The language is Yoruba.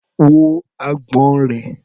Wo agbọ̀n rẹ̀.